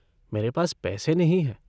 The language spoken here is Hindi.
मेरे पास पैसे नहीं हैं।